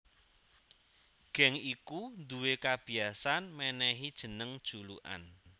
Geng iku duwé kabiyasan mènèhi jeneng julukan